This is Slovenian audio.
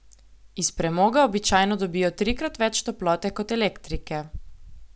Iz premoga običajno dobijo trikrat več toplote kot elektrike.